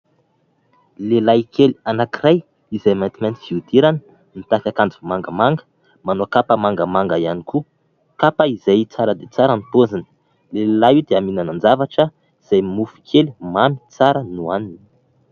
Lehilahy kely anankiray izay maintimainty fihodirana mitafy akanjo mangamanga, manao kapa mangamanga ihany koa, kapa izay tsara dia tsara ny paoziny. Io lehilahy io dia mihinan-javatra izay mofo kely mamy tsara no hohaniny.